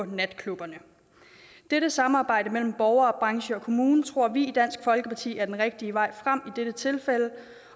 natklubberne dette samarbejde mellem borgere og branche og kommune tror vi i dansk folkeparti er den rigtige vej frem i dette tilfælde